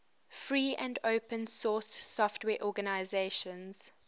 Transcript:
free and open source software organizations